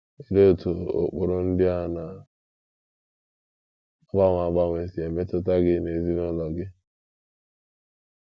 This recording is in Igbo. Olee otú ụkpụrụ ndị a na - agbanwe agbanwe si emetụta gị na ezinụlọ gị?